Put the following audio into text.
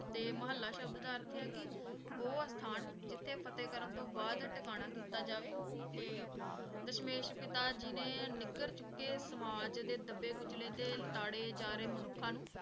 ਤੇ ਮੁਹਲਾ ਸ਼ਾਬ੍ਧ ਦਾ ਅਰਥ ਆਯ ਆ ਕੀ ਊ ਅਸਥਾਨ ਜਿਥੇ ਕੀ ਫ਼ਤੇਹ ਕਰਨ ਤੋਂ ਬਾਅਦ ਟਿਕਾਣਾ ਕੀਤਾ ਜਾਵੇ ਤੇ ਦਸ਼ਮੇਸ਼ ਪਿਤਾਜੀ ਨੇ ਨਗਰ ਚੁਕੇ ਸਾਮਾਝ ਦਾ ਦਬੇ ਖੁਚ੍ਲ੍ਯ ਤੇ ਲਾਟਰੀ ਜਾ ਰਹੀ ਮਨੁਖਾਂ ਨੂ